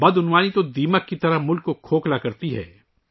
corruption ملک کو دیمک کی طرح کھوکھلا کر رہا ہے